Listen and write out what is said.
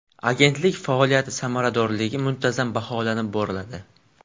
Agentlik faoliyati samaradorligi muntazam baholanib boriladi.